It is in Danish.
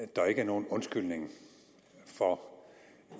der ikke er nogen undskyldning for